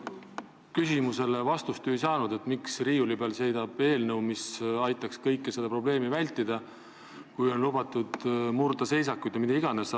Ega me ju ei saanud vastust küsimusele, miks seisab riiulil eelnõu, mis aitaks seda probleemi vältida, kui on lubatud murda seisakuid ja mida iganes.